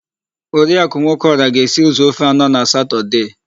Oriakụ Nwokeọra ga-esi ụzọ ofe anọ na satọdee.